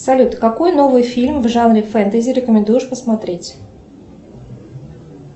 салют какой новый фильм в жанре фэнтези рекомендуешь посмотреть